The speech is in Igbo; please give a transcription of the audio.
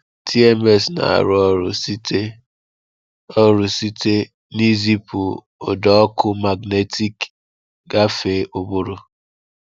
TMS na-arụ ọrụ site ọrụ site n’izipu ụda ọkụ magnetik gafee ụbụrụ.